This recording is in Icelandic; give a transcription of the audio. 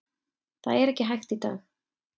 Það er ekki hægt í dag.